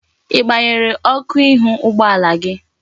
Igbanyere Oku ihu ụgbọala gị?